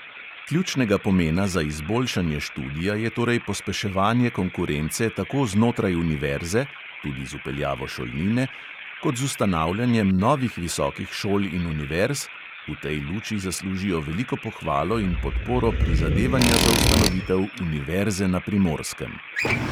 Ključnega pomena za izboljšanje študija je torej pospeševanje konkurence tako znotraj univerze (tudi z vpeljavo šolnine) kot z ustanavljanjem novih visokih šol in univerz – v tej luči zaslužijo veliko pohvalo in podporo prizadevanja za ustanovitev univerze na primorskem.